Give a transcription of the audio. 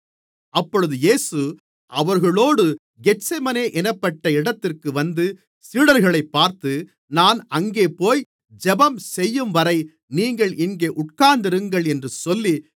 அப்பொழுது இயேசு அவர்களோடு கெத்செமனே என்னப்பட்ட இடத்திற்கு வந்து சீடர்களைப் பார்த்து நான் அங்கே போய் ஜெபம்செய்யும்வரை நீங்கள் இங்கே உட்கார்ந்திருங்கள் என்று சொல்லி